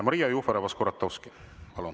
Maria Jufereva-Skuratovski, palun!